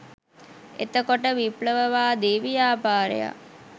එතකොට විප්ලවවාදී ව්‍යාපාරයක්